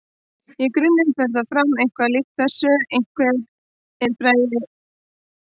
Í grunninn fer það fram eitthvað líkt þessu: Einhver fær hugmynd að leik.